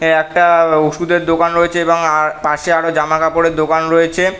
ওটা একটা আ - ওষুধের দোকান রয়েছে এবং আ - পাশে আরো জামা কাপড় এর দোকান রয়েছে।